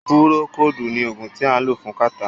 Púrókòodu ní oògùn tí a lò fún kàtá.